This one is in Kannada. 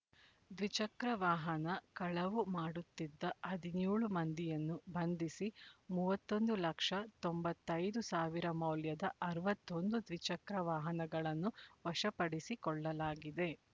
ದ್ವಿಚಕ್ರ ವಾಹನ ಕಳವು ಮಾಡುತ್ತಿದ್ದ ಹದಿನ್ಯೋಳು ಮಂದಿಯನ್ನು ಬಂಧಿಸಿ ಮೂವತ್ತೊಂದು ಲಕ್ಷ ತೊಂಬತ್ತೈ ದು ಸಾವಿರ ಮೌಲ್ಯದ ಅರವತ್ತ್ ಒಂದು ದ್ವಿಚಕ್ರ ವಾಹನಗಳನ್ನು ವಶಪಡಿಸಿಕೊಳ್ಳಲಾಗಿದೆ